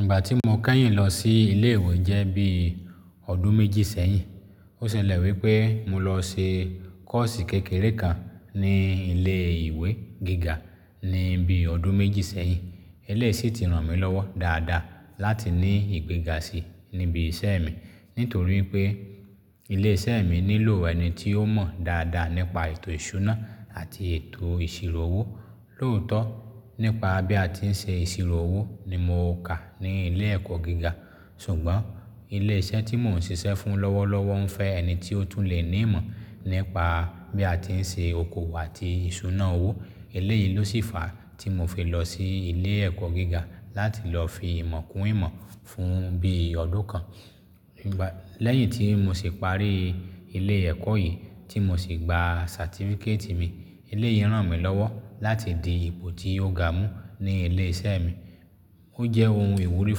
Ìgbà tí mo kẹ́yìn lọ sí ilé ìwé jẹ́ bí ọdún méjì sẹ́yìn. Ó ṣe lẹ̀ wípẹ́ mo lọ se kọ́ọ̀sì kékeré kan ní ilé ìwé gíga ní bí ọdún méjì sẹ́yìn. Eléyìí sì ti ràn mí lọ́wọ́ dáadáa láti ní ìgbéga sí i níbi iṣẹ́ mi nítorí pé ilé iṣẹ́ mi nílò ẹni tí ó mọ̀ dáadáa nípa ètò ìṣúná àti ètò ìṣirò owó. Lóòótọ́, nípa bí a ti ń ṣe ìṣirò owó ni mo kà ní ilé ẹ̀kọ́ gíga. Ṣùgbọ́n ilé iṣẹ́ tí mò ń ṣiṣẹ́ fún lọ́wọ́lọ́wọ́ ń fẹ́ ẹni tí ó tún lè ní ìmọ̀ nípa bí a ti ń ṣe okoòwò àti ìṣúná owó. Eléyìí ló sì fa tí mo fi lọ sí ilé ẹ̀kọ́ gíga láti lọ fi ìmọ̀ kún ìmọ̀ fún bí ọdún kan. Lẹ́yìn tí mo sì parí ilé ẹ̀kọ́ yìí tí mo sì gba satifíkétì mi, eléyìí ràn mí lọ́wọ́ láti di ipò tí ó ga mú ní ilé iṣẹ́ mi. Ó jẹ́ ohun ìwúrí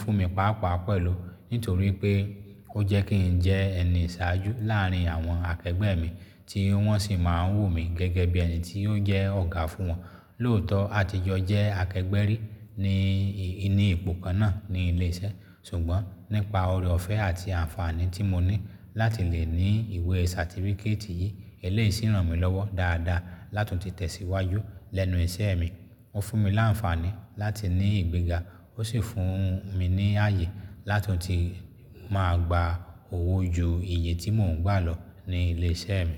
fún mi pàápàá pẹ̀lú nítorí pé ó jẹ́ kí ń jẹ́ ẹni ìṣáájú láàárín àwọn akẹgbẹ́ mi tí wọ́n sì máa ń wò mí gẹ́gẹ́ bí ẹni tí ó jẹ́ ọ̀gá fún wọn. Lóòótọ́ àtijọ́ jẹ́ akẹgbẹ́ rí ní inu ipò kan náà ní ilé iṣẹ́. Ṣùgbọ́n nípa ọre ọ̀fẹ́ àti àǹfààní tí mo ní láti lè ní ìwé satifíkétì yìí, eléyìí sì ràn mí lọ́wọ́ dáadáa láti tunti tesíwájú lẹ́nu iṣẹ́ mi. Ó fún mi láǹfààní láti ní ìgbéga ó sì fún un mi ní ààyè lá tunti máa gba owó ju iye tí mò ń gbà lọ ní ilé iṣẹ́ mi.